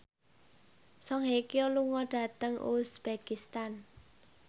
Song Hye Kyo lunga dhateng uzbekistan